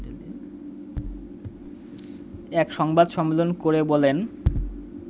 এক সংবাদ সম্মেলন করে বলেন